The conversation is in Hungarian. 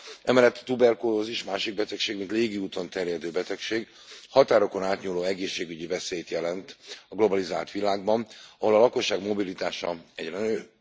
Emellett a tuberkulózis, másik betegség mint légi úton terjedő betegség, határokon átnyúló egészségügyi veszélyt jelent a globalizált világban, ahol a lakosság mobilitása egyre nő.